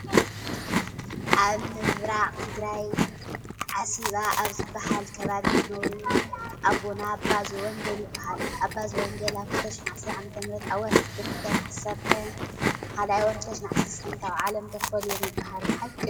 ኣብ ምብራት ትግራይ ዓሲባ ኣብ ዝበሃል ከባቢ ዝነበሩ ዝነበሩ ኣቦና ኣባ ዘወንገል ይበሃሉ ኣባ ዘወንገል ኣብ 2013 ዓ.ም ኣብ ወርሒ ጥቅምቲ ዕለት 10/02/2013 ካብ ዓለም ተፈልዮም ይበሃል ሓቂ ድዩ ?